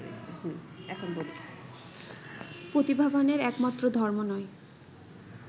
প্রতিভাবানের একমাত্র ধর্ম নয়